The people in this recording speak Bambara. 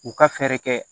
U ka fɛɛrɛ kɛ